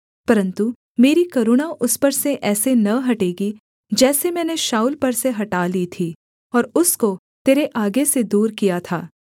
परन्तु मेरी करुणा उस पर से ऐसे न हटेगी जैसे मैंने शाऊल पर से हटा ली थी और उसको तेरे आगे से दूर किया था